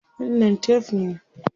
Wannan tef ne?